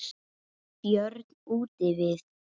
Þeir eru báðir úr leik.